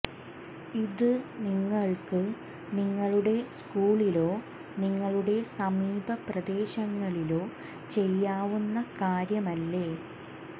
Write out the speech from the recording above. ഇത് നിങ്ങൾക്ക് നിങ്ങളുടെ സ്കൂളിലോ നിങ്ങളുടെ സമീപ പ്രദേശങ്ങളിലോ ചെയ്യാവുന്ന കാര്യമല്ലേ